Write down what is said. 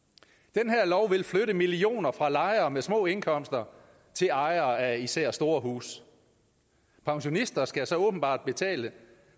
den her lov vil flytte millioner fra lejere med små indkomster til ejere af især store huse pensionister skal så åbenbart betale